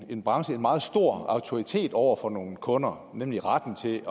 en branche en meget stor autoritet over for nogle kunder nemlig retten til